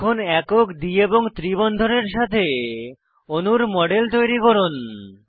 এখন একক দ্বি এবং ত্রি বন্ধনের সাথে অণুর মডেল তৈরি করুন